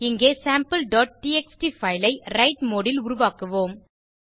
இங்கே sampleடிஎக்ஸ்டி பைல் ஐ விரைட் மோடு ல் உருவாக்குவோம்